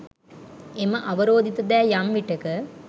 එම අවරෝධිත දෑ යම් විටෙක